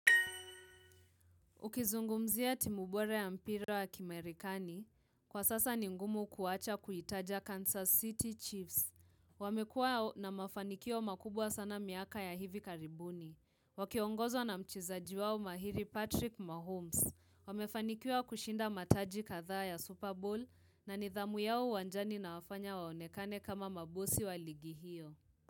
Ukizungumzia timu bora ya mpira wa kimarekani, kwa sasa ni ngumu kuwacha kuitaja Kansas City Chiefs. Wamekua na mafanikio makubwa sana miaka ya hivi karibuni. Wakiongozwa na mchezaji wao mahiri Patrick Mahomes. Wamefanikiwa kushinda mataji kadhaa ya Super Bowl na nidhamu yao uwanjani inawafanya waonekane kama mabosi wa ligi hiyo.